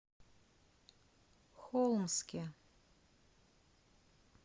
холмске